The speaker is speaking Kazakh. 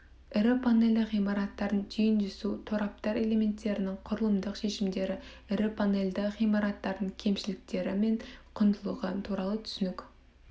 ірі панельді ғимараттардың түйіндесу тораптар элементерінің құрылымдық шешімдері ірі панельді ғимараттардың кемшіліктері мен құндылығы туралы түсінік